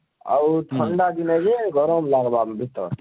ଆଉ ଥଣ୍ଡା ଦିନେ ଯେ ଗରମ ଲାଗବା ଭିତର